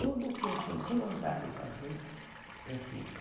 Tudo que eu senti vontade de fazer, eu fiz.